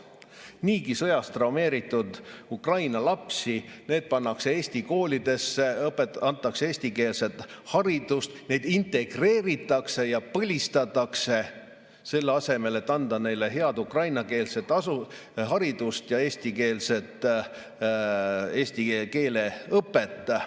Niigi sõjast traumeeritud Ukraina lapsed pannakse Eesti koolidesse, antakse neile eestikeelset haridust, neid integreeritakse ja põlistatakse, selle asemel et anda neile head ukrainakeelset haridust ja eesti keele õpet.